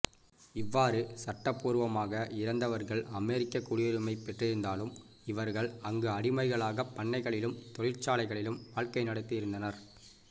இவ்வாறு சட்டப்பூர்வமாக இறந்தவர்கள் அமெரிக்கக் குடியுரிமை பெற்றிருந்தாலும் இவர்கள் அங்கு அடிமைகளாகப் பண்ணைகளிலும் தொழிற்சாலைகளிலும் வாழ்க்கை நடத்தி இருந்தனர்